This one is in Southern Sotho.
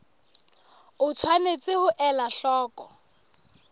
o tshwanetse ho ela hloko